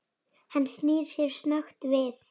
Hann snýr sér snöggt við.